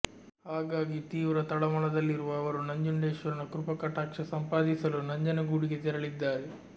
ಹಾಗಾಗಿ ತೀವ್ರ ತಳಮಳದಲ್ಲಿರುವ ಅವರು ನಂಜುಂಡೇಶ್ವರನ ಕೃಪಾಕಟಾಕ್ಷ ಸಂಪಾದಿಸಲು ನಂಜನಗೂಡಿಗೆ ತೆರಳಿದ್ದಾರೆ